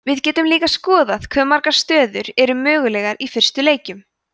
við getum líka skoðað hve margar stöður eru mögulegar í fyrstu leikjum